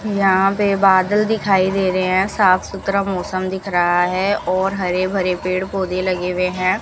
यहां पे बादल दिखाई दे रहे हैं साफ सुथरा मौसम दिख रहा है और हरे भरे पेड़ पौधे लगे हुए हैं।